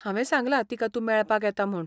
हावें सांगलां तिका तूं मेळपाक येता म्हूण.